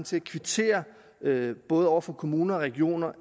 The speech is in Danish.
til at kvittere både over for kommuner og regioner